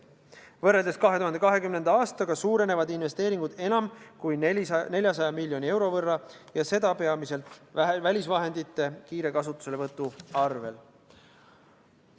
Võrreldes 2020. aastaga suurenevad investeeringud enam kui 400 miljoni euro võrra ja seda peamiselt välisvahendite kiire kasutuselevõtu tulemusena.